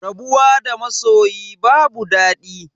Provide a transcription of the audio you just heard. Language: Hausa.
Rabuwa da masoyi babu dadi